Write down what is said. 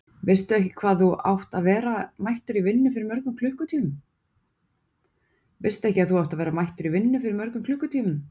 Veistu ekki að þú átt að vera mættur í vinnu fyrir mörgum klukkutímum?